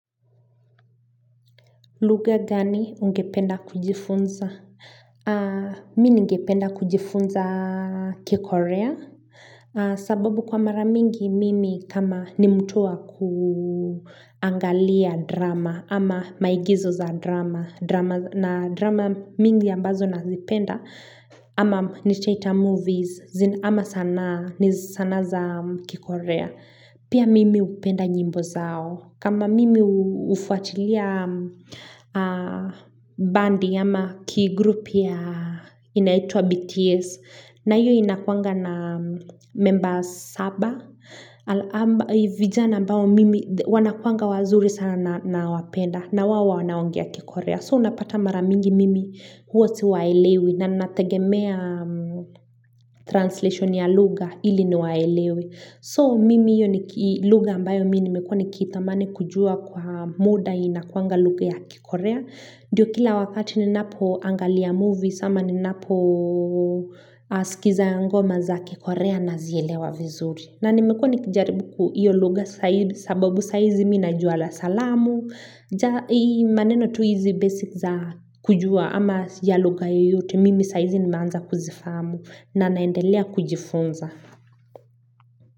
Lugha gani ungependa kujifunza? Mimi ningependa kujifunza kikorea. Sababu kwa mara mingi mimi kama ni mtu wa kuangalia drama ama maigizo za drama. Na drama mingi ambazo nazipenda ama nitaita movies ama sanaa za kikorea. Pia mimi hupenda nyimbo zao. Kama mimi hufuatilia bandi ama key group ya inaitwa BTS. Na hiyo inakuanga na members saba. Vijana ambao mimi wanakuanga wazuri sana nawapenda. Na wao wanaongea kikorea. So unapata mara mingi mimi huwa siwaelewi. Na ninategemea translation ya lugha ili niwaelewe. So mimi hiyo ni lugha ambayo mimi nimekuwa nikitamani kujua kwa muda inakuanga lugha ya kikorea. Ndiyo kila wakati ni napoangalia movies ama ninapo sikiza ngoma za kikorea nazielewa vizuri. Na nimekuwa nikijaribu hiyo lugha zaidi sababu saa hizi mimi najua la salamu. Ja ii maneno tu hizi basic za kujua ama ya lugha yoyote mimi saa hizi nimeanza kuzifahamu na naendelea kujifunza.